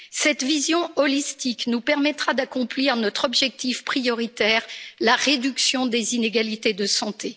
Cette vision holistique nous permettra d'accomplir notre objectif prioritaire la réduction des inégalités de santé.